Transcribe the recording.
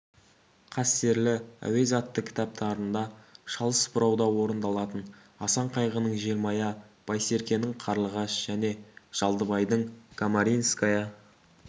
қастерлі әуез атты кітаптарында шалыс бұрауда орындалатын асан қайғының желмая байсеркенің қарлығаш және жалдыбайдың камаринская